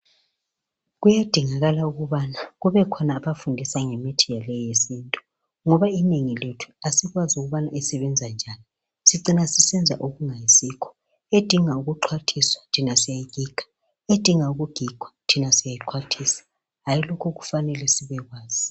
Kuyadingakala ukubana kubekhona abafundisa ngemithi yabo yesithi. Ngoba inengi lethu asikwazi ukubana isebenza njani Edinga ukuxwathiswa thina siyayigiga, edinga ukugigwa thina siyayixwathisa, hayi lokho kufanele sibekwazi.